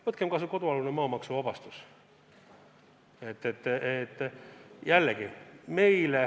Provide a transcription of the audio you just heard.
Võtkem kas või kodualuse maa maksuvabastus.